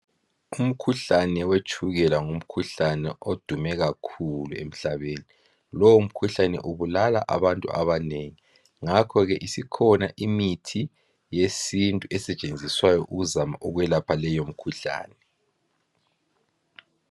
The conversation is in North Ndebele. Umkhuhlane wetshukela ngumkhuhlane odume kakhulu emhlaben lomkhuhlane ubulala abantu abanengi ngakho ke isikhona imithi yesintu esetshenziswayo ukuzama ukwelapha leyo mikhuhlane